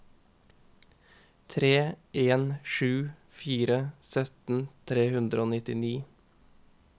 tre en sju fire sytten tre hundre og nittini